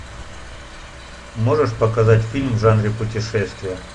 можешь показать фильм в жанре путешествия